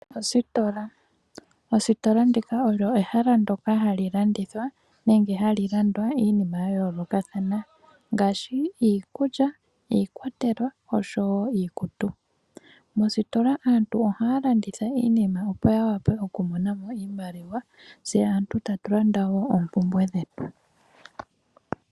Ositola olyo ehala ndyoka hali landithilwa nenge hali landwa iinima yayoolokathana , ngaashi iikulya , iikwatelwa oshowoo iikutu. Moositola aantu ohaya landitha iinima opo yawape okumona mo iimaliwa. Tse aantu tatu landa oompumbwe dhetu.